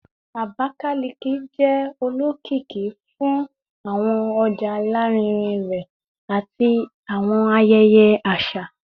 Abakalaki jẹ olokiki fun awọn ọja larinrin rẹ ati awọn ayẹyẹ aṣa